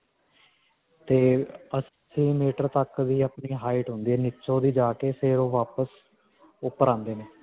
ਤੇ ਅੱਸੀ meter ਤੱਕ ਹੀ ਆਪਣੀ height ਹੁੰਦੀ ਹੈ ਨੀਚਿਓਂ ਦੀ ਜਾ ਕੇ ਫਿਰ ਓਹ ਵਾਪਸ ਉਪਰ ਆਉਂਦੇ ਨੇ.